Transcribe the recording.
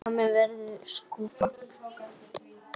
Líkami minn verður skrúfa.